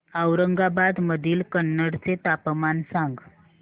औरंगाबाद मधील कन्नड चे तापमान सांग